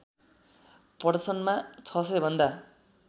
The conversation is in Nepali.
प्रदर्शनमा ६०० भन्दा